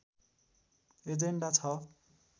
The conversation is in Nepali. एजेन्डा छ